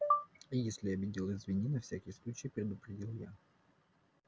если обидел извини на всякий случай предупредил я